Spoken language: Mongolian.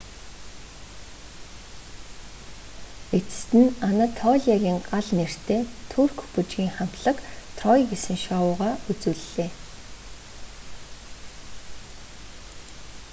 эцэст нь анатолиагийн гал нэртэй турк бүжгийн хамтлаг трой гэсэн шоугаа үзүүллээ